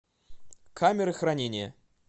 камеры хранения